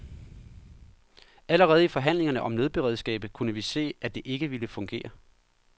Allerede i forhandlingerne om nødberedskabet kunne vi se, at det ikke ville fungere.